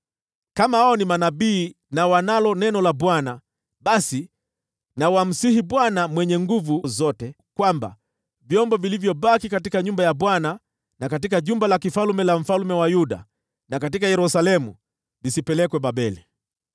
Kama wao ni manabii na wanalo neno la Bwana , basi na wamsihi Bwana Mwenye Nguvu Zote ili vyombo vilivyobaki katika nyumba ya Bwana na katika jumba la kifalme la mfalme wa Yuda na katika Yerusalemu visipelekwe Babeli.